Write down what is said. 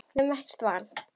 Við höfðum ekkert val.